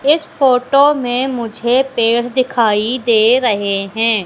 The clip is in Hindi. इस फोटो में मुझे पेड़ दिखाई दे रहे हैं।